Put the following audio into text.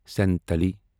Santali